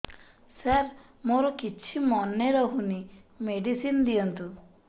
ସାର ମୋର କିଛି ମନେ ରହୁନି ମେଡିସିନ ଦିଅନ୍ତୁ